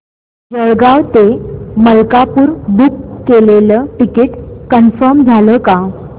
जळगाव ते मलकापुर बुक केलेलं ticket confirm झालं का